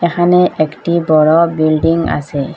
এখানে একটি বড়ো বিল্ডিং আসে ।